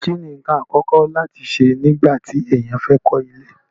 kí ni ǹkan àkọ́kọ́ láti ṣe nígbà tí èèyàn fẹ́ kọ́ ilé?